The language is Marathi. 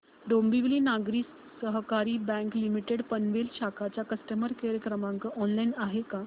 डोंबिवली नागरी सहकारी बँक लिमिटेड पनवेल शाखा चा कस्टमर केअर क्रमांक ऑनलाइन आहे का